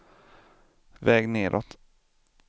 väg nedåt